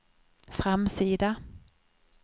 framsida